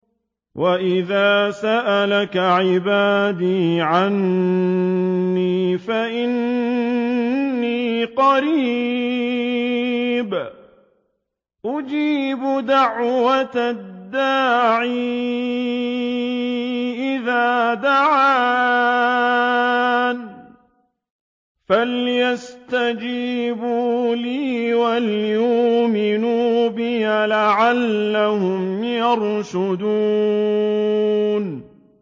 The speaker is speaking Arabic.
وَإِذَا سَأَلَكَ عِبَادِي عَنِّي فَإِنِّي قَرِيبٌ ۖ أُجِيبُ دَعْوَةَ الدَّاعِ إِذَا دَعَانِ ۖ فَلْيَسْتَجِيبُوا لِي وَلْيُؤْمِنُوا بِي لَعَلَّهُمْ يَرْشُدُونَ